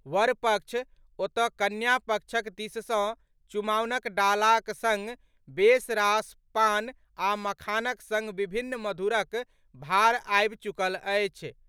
वर पक्ष ओतऽ कन्या पक्षक दिस सॅ चुमाओनक डालाक संग बेस रास पान आ मखानक संग विभिन्न मधुरक भार आबि चुकल अछि।